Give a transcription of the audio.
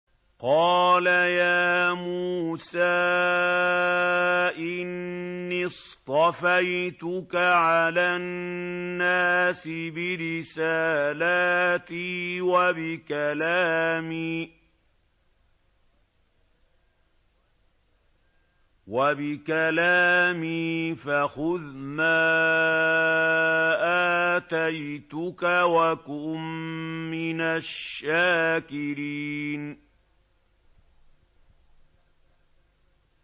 قَالَ يَا مُوسَىٰ إِنِّي اصْطَفَيْتُكَ عَلَى النَّاسِ بِرِسَالَاتِي وَبِكَلَامِي فَخُذْ مَا آتَيْتُكَ وَكُن مِّنَ الشَّاكِرِينَ